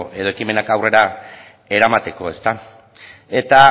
edo ekimenak aurrera eramateko ezta eta